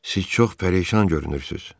Siz çox pərişan görünürsüz.